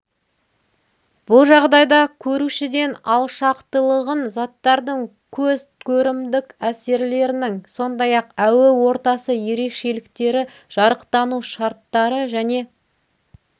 бұл жағдайда көрушіден алшақтылығын заттардың көз көрімдік әсерлерінің сондай ақ әуе ортасы ерекшеліктері жарықтану шарттары және